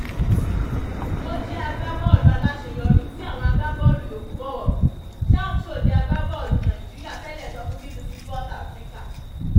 ó jẹ́ agbábọ́ọ̀lù aláṣeyọrí tí àwọn agbábọ́ọ̀lù yòókù bọ̀wọ̀ fún sam sọ́de agbábọ́ọ̀lù nàìjíríà tẹ́lẹ̀ sọ fún bbc sport africa